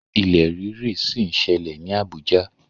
Ilẹ̀ rírì ṣì ń ṣẹlẹ̀ ní Abuja.